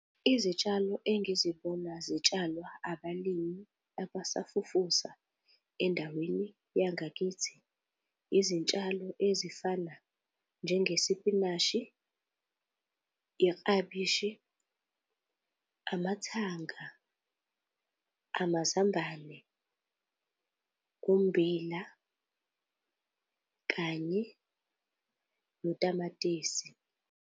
Izitshalo engizibona zitshalwa abalimi abasafufusa endaweni yangakithi, izintshalo ezifana njengesipinashi, iklabishi, amathanga, amazambane, umbila kanye notamatisi.